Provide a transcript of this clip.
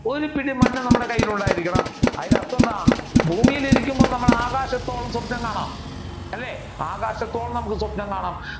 ഒരു പിടി മണ്ണ് നമ്മുടെ കയ്യിൽ ഉണ്ടായിരിക്കണം. അതിന്റെ അർഥം എന്താണ് ഭൂമിയിൽ ഇരിക്കുമ്പോൾ നമ്മൾ ആകാശത്തോളം സ്വപ്നം കാണുക അല്ലെ ആകാശത്തോളം നമ്മുക്ക് സ്വപ്നം കാണാം